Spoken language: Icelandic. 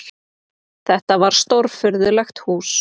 Þetta var stórfurðulegt hús.